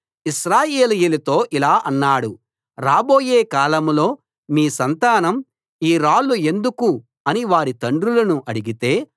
ఇశ్రాయేలీయులతో ఇలా అన్నాడు రాబోయే కాలంలో మీ సంతానం ఈ రాళ్ళు ఎందుకు అని వారి తండ్రులను అడిగితే